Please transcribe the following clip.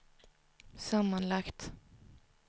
sammanlagt